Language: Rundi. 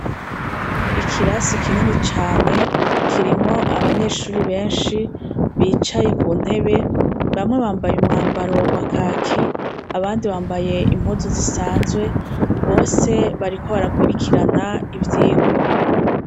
Ikirasi kinini cane, kirimwo abanyeshuri benshi bicaye ku ntebe. Bamwe bambaye umwambaro wa kaki, abandi bambaye impuzu zisanzwe. Bose bariko barakurikirana ivyirwa.